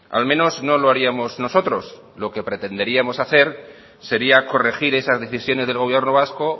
al menos no lo haríamos nosotros lo que pretenderíamos hacer sería corregir esas decisiones del gobierno vasco